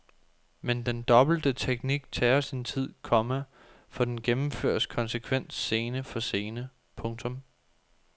Men den dobbelte teknik tager sin tid, komma for den gennemføres konsekvent scene for scene. punktum